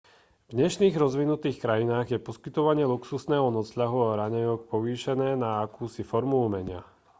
v dnešných rozvinutých krajinách je poskytovanie luxusného nocľahu a raňajok povýšené na akúsi formu umenia